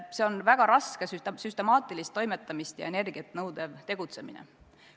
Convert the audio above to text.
See on väga raske, süstemaatilist toimetamist ja energiat nõudev tegutsemine.